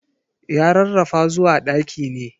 Ya rarrafa zuwa ɗaki ne.